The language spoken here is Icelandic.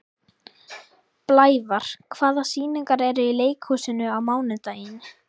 Blævar, hvaða sýningar eru í leikhúsinu á mánudaginn?